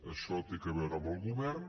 això té a veure amb el govern